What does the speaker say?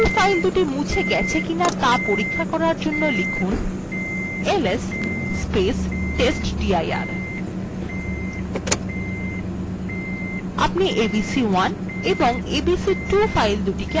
you ফাইলদুটি মুছে গেছে কিনা ত়া পরীক্ষা করার জন্য লিখুন ls testdir আপনি abc1 এবং abc2 ফাইলদুটিকে আর দেখতে পাবেন no